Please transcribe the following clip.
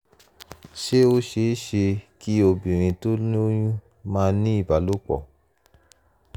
ṣé ó ṣeé ṣe ṣeé ṣe kí obìnrin tó lóyún máà ní ìbálòpọ̀?